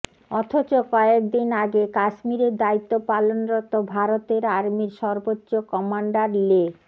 অথচ কয়েক দিন আগে কাশ্মীরের দায়িত্ব পালনরত ভারতের আর্মির সর্বোচ্চ কমান্ডার লে